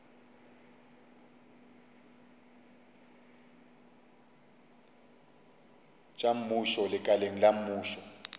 tša mmušo lekaleng la mmušo